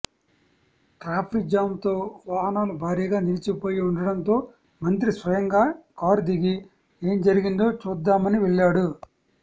ట్రాఫి jam తో వాహనాలు భారీగా నిలిచిపోయి ఉండడంతో మంత్రి స్వయంగా కారు దిగి ఏం జరిగిందో చూద్దామని వెళ్ళాడు